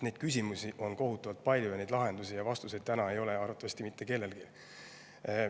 Neid küsimusi on kohutavalt palju, aga lahendusi ja vastuseid täna ei ole arvatavasti mitte kellelgi.